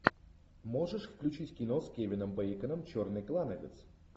можешь включить кино с кевином бейконом черный клановец